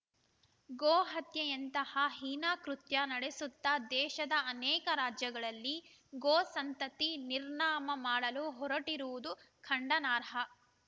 ಗೋ ಹತ್ಯೆಯಂತಹ ಹೀನ ಕೃತ್ಯ ನಡೆಸುತ್ತ ದೇಶದ ಅನೇಕ ರಾಜ್ಯಗಳಲ್ಲಿ ಗೋ ಸಂತತಿ ನಿರ್ನಾಮ ಮಾಡಲು ಹೊರಟಿರುವುದು ಖಂಡನಾರ್ಹ